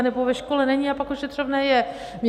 Anebo ve škole není a pak ošetřovné je.